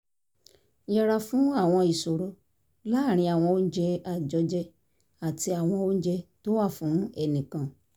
yẹra fún àwọn ìṣòro láàárín àwọn oúnjẹ àjọjẹ àti àwọn oúnjẹ tó wà fún ẹnìkan